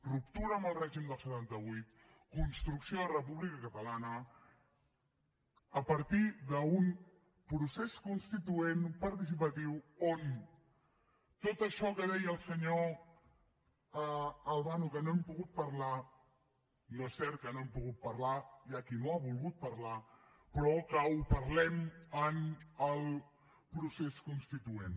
ruptura amb el règim del setanta vuit construcció de república catalana a partir d’un procés constituent participatiu on tot això que deia el senyor albano que no hem pogut parlar no és cert que no ho hem pogut parlar hi ha qui no ha volgut parlar però que ho parlem en el procés constituent